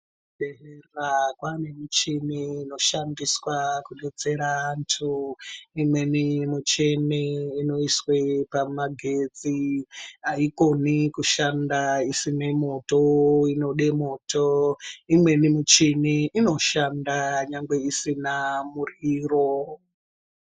Kuzvibhedhlera kwane michini inoshandiswa kudetsera antu. Imweni muchini inoiswe pamagetsi haikoni kushanda isine moto inode moto, imweni michini inoshanda nyangwe isina muryiro.